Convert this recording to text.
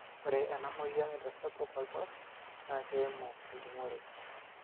ore ena moyian naitaspuk oltau naa keimu ejungoree